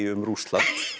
um Rússland